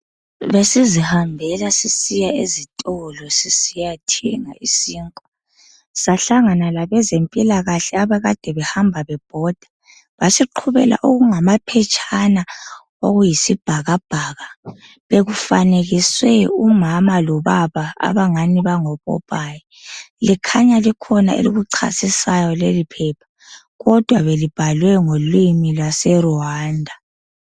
Besisihambela sisiya ezitolo sisiyathenga isinkwa, sahlangana labezempilalakahle abakade behamba bebhoda, basiqhubela okungamaphetshana okuyisbhakabhaka. Bekufanekiswe umama lobaba abangani bangopopoayi, kukhanya likhona elikuchasisayo leliphepha, kodwa belibhalwe ngolimi lwase Rwanda.